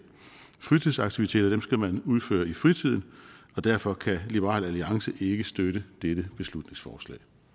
fritidsaktiviteter skal man udføre i fritiden og derfor kan liberal alliance ikke støtte dette beslutningsforslag